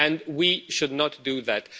We should not do that.